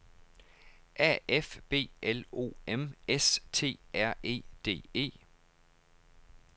A F B L O M S T R E D E